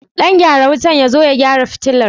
Ɗan gyaran wutar ya zo ya gyara fitilar?